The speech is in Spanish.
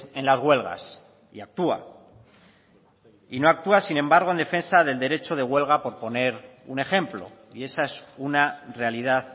en las huelgas y actúa y no actúa sin embargo en defensa del derecho de huelga por poner un ejemplo y esa es una realidad